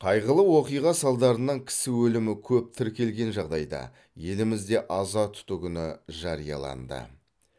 қайғылы оқиға салдарынан кісі өлімі көп тіркелген жағдайда елімізде аза тұту күні жарияланды